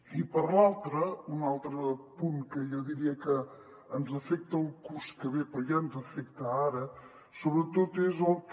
i per l’altra un altre punt que jo diria que ens afecta el curs que ve però ja ens afecta ara sobretot és el que